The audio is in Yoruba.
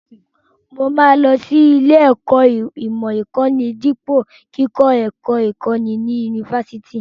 Mo máa lọ sí ilé-ẹ̀kọ́ ìmọ̀ ìkọ́ni dípò kíkọ́ ẹ̀kọ́ ìkọ́ni ní yunifásitì.